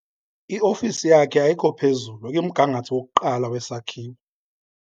Iofisi yakhe ayikho phezulu ikumgangatho wokuqala wesakhiwo.